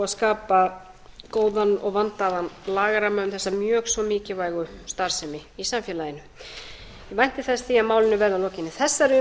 skapa góðan og vandaðan lagaramma um þessa mjög svo mikilvægu starfsemi í samfélaginu ég vænti þess að málinu